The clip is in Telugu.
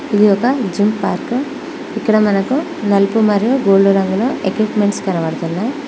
ఇది ఒక జిమ్ పార్క్ ఇక్కడ మనకు నలుపు మరియు గోల్డు రంగులో ఎక్విప్మెంట్స్ కనబడుతున్నాయి.